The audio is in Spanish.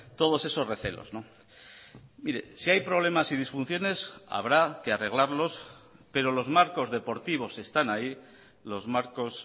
todos esos recelos mire si hay problemas y disfunciones habrá que arreglarlos pero los marcos deportivos están ahí los marcos